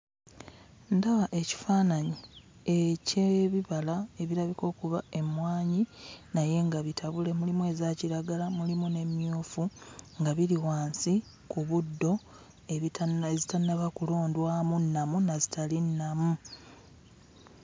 Ndaba ekifaananyi eky'ebibala ebirabika okuba emmwanyi naye nga bitabule, mulimu eza kiragala mulimu n'emmyuufu nga biri wansi ku buddo ebitanna...ezitannaba kulondwamu nnamu na zitali nnamu.